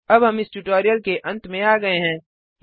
httpspoken tutorialorgNMEICT Intro अब हम इस ट्यूटोरियल के अंत में आ गये हैं